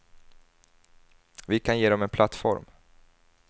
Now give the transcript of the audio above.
Vi kan ge dem en plattform.